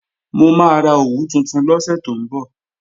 Mo máa ra òwú tuntun lọ́sẹ̀ tó ń bọ̀